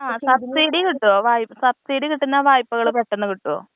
ആഹ് subsidy കിട്ടോ? വായ്പ്പ, subsidy കിട്ടുന്ന വായ്പ്പകള് പെട്ടെന്ന് കിട്ടോ?